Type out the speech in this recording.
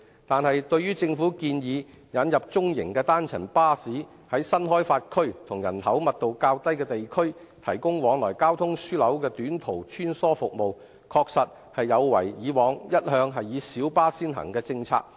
但是，對於政府建議引入中型單層巴士，在新開發區及人口密度較低的地區，提供往來交通樞紐的短途穿梭服務，確實有違以往一向以小巴先行的政策。